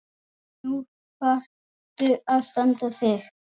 Nú þarftu að standa þig.